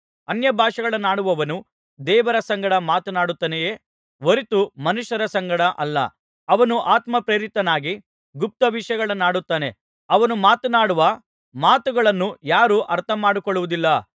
ಅನ್ಯಭಾಷೆಗಳನ್ನಾಡುವವನು ದೇವರ ಸಂಗಡ ಮಾತನಾಡುತ್ತಾನೆಯೇ ಹೊರತು ಮನುಷ್ಯರ ಸಂಗಡ ಅಲ್ಲ ಅವನು ಆತ್ಮ ಪ್ರೇರಿತನಾಗಿ ಗುಪ್ತ ವಿಷಯಗಳನ್ನಾಡುತ್ತಾನೆ ಅವನು ಮಾತನಾಡುವ ಮಾತುಗಳನ್ನು ಯಾರೂ ಅರ್ಥಮಾಡಿಕೊಳ್ಳುವುದಿಲ್ಲ